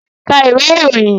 Ka ìwé ìròyìn!